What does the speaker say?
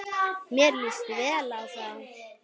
Mér líst vel á þá.